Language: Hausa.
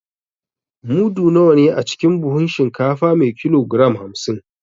Mudu nawa ne a cikin buhun shinkafa me kilogram hamsin?